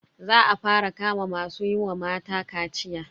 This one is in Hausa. Za a fara kama masu yi wa mata kaciya.